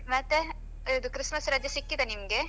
ಮತ್ತೆ ಇದ್ Christmas ರಜೆ ಸಿಕ್ಕಿದ ನಿಮ್ಗೆ?